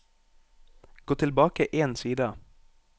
Gå tilbake én side